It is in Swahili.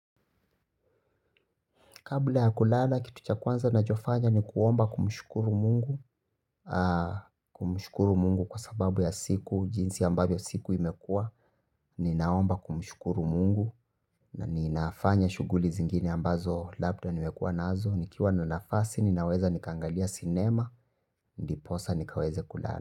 Kabla ya kulala, kitu cha kwanza na nachofanya ni kuomba kumshukuru Mungu. Kumshukuru Mungu kwa sababu ya siku, jinsi ambavyo siku imekua. Ninaomba kumshukuru Mungu na ninafanya shughuli zingine ambazo labda nimekua nazo nikiwa nafasi, ninaweza nikaangalia sinema, ndiposa nikaweze kulala.